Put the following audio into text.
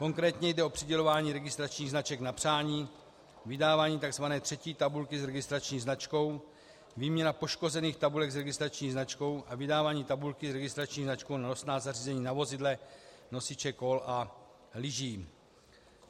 Konkrétně jde o přidělování registračních značek na přání, vydávání tzv. třetí tabulky s registrační značkou, výměnu poškozených tabulek s registrační značkou a vydávání tabulky s registrační značkou na nosná zařízení na vozidle - nosiče kol a lyží.